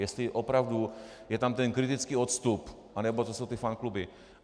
Jestli opravdu je tam ten kritický odstup, anebo to jsou ty fankluby.